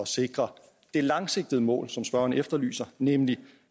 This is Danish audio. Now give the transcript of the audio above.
sikre det langsigtede mål som spørgeren efterlyser nemlig